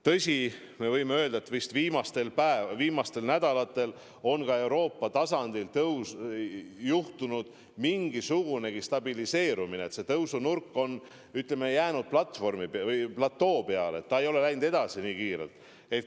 Tõsi, me võime öelda, et viimastel nädalatel on ka Euroopas aset leidnud mingisugunegi stabiliseerumine, tõusunurk on jäänud samaks, ei ole nii kiirelt kasvanud.